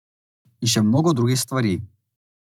In še mnogo drugih stvari.